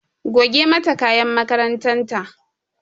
Goge mata kayan makarantar ta!